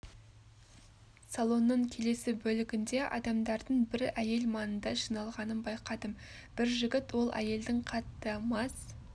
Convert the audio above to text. салонның келесі бөлігінде адамдардың бір әйел маңында жиналғанын байқадым бір жігіт ол әйелдің қатты мас